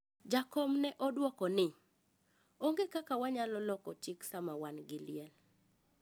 Jakom ne oduoko ni "onge kaka wanyalo loko chik sama wan gi liel".